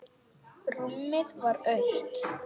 Rúmið var autt.